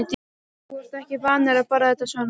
Þú ert ekki vanur að borða þetta svona